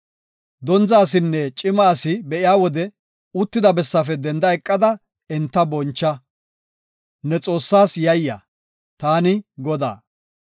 “Dondza asinne cima asi be7iya wode uttida bessaafe denda eqada enta boncha; ne Xoossaas yayya. Taani Godaa.